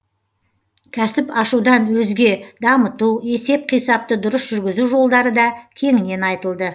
кәсіп ашудан өзге дамыту есеп қисапты дұрыс жүргізу жолдары да кеңінен айтылды